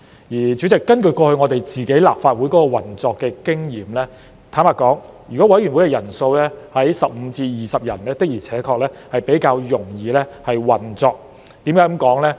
代理主席，根據我們立法會過去的運作經驗，坦白說，如果委員會的人數為15至20人，確實較容易運作。